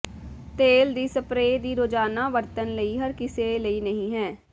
ਤੇਲ ਦੀ ਸਪਰੇਅ ਦੀ ਰੋਜ਼ਾਨਾ ਵਰਤਣ ਲਈ ਹਰ ਕਿਸੇ ਲਈ ਨਹੀ ਹੈ